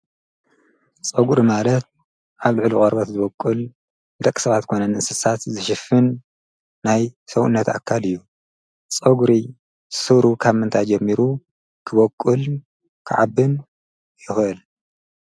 ጸጕድ ማለት ኣብልዕሉ ቐርበት ዝበቅል ደቂ ሰባት ኮነ ንንስሳት ዝሽፍን ናይ ሰውነት ኣካል እዩ ፀጕሪ ሱሩ ካብ መንታይ ጀሚሩ ክበቊል ክዓብን የሁል